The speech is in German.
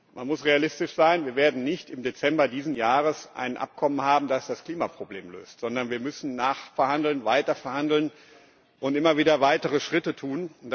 Man muss realistisch sein Wir werden nicht im Dezember dieses Jahres ein Abkommen haben, das das Klimaproblem löst, sondern wir müssen nachverhandeln, weiter verhandeln und immer wieder weitere Schritte tun.